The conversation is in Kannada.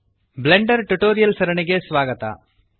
ಬ್ಲೆಂಡರ್ ಟ್ಯುಟೋರಿಯಲ್ಸ್ ಸರಣಿಗೆ ಸ್ವಾಗತ